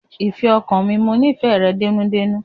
Ìfẹ́ ọkàn mi, mo nífẹ̀ẹ́ rẹ dénúdénú.